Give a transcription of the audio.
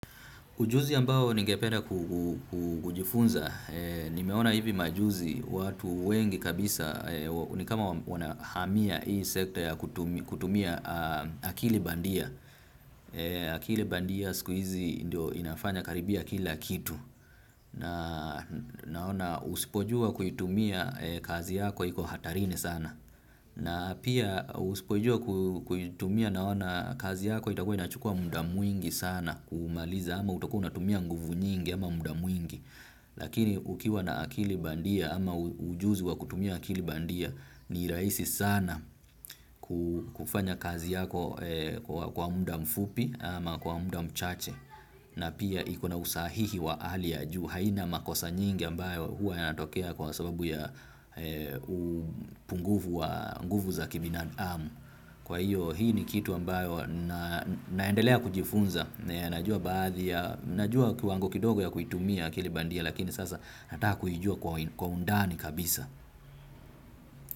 Ujuzi ambao ningependa kujifunza, nimeona hivi majuzi watu wengi kabisa, ni kama wanahamia hii sekta ya kutumia akili bandia. Akili bandia siku hizi ndio inafanya karibia kila kitu. Naona usipojua kuitumia kazi yako iko hatarini sana. Na pia uspojua kuitumia naona kazi yako itakuwa inachukua muda mwingi sana kumaliza ama utakuwa unatumia nguvu nyingi ama muda mwingi. Lakini ukiwa na akili bandia ama ujuzi wa kutumia akili bandia ni rahisi sana kufanya kazi yako kwa muda mfupi ama kwa muda mchache. Na pia iko na usahihi wa hali ya juu haina makosa nyingi ambayo huwa yanatokea kwa sababu ya upungufu za kibinadamu. Kwa hiyo hii ni kitu ambayo naendelea kujifunza, najua baadhi ya, najua kiwango kidogo ya kuitumia akili bandia lakini sasa nataka kuijua kwa u ndani kabisa.